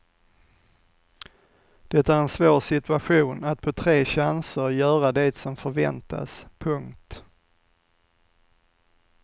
Det är en svår situation att på tre chanser göra det som förväntas. punkt